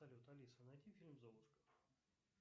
салют алиса найди фильм золушка